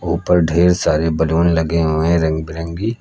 ऊपर ढेर सारे बलून लगे हुए है रंग बिरंगी।